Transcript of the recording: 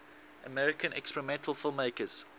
american experimental filmmakers